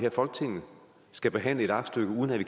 i folketinget skal behandle et aktstykke uden at vi